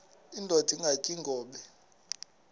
indod ingaty iinkobe